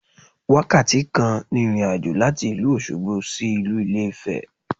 Wákàtí kan ni ìrìnàjò láti ìlú Òsogbo sí ìlú Ilé Ifè